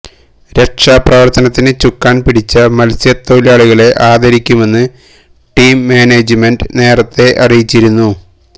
രക്ഷാപ്രവർത്തനത്തിന് ചുക്കാൻ പിടിച്ച മത്സ്യ തൊഴിലാളികളെ ആദരിക്കുമെന്ന് ടീം മാനേജ്മെന്റ് നേരത്തെ അറിയിച്ചിരുന്നു